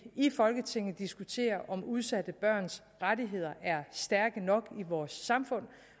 i folketinget diskuterer om udsatte børns rettigheder er stærke nok i vores samfund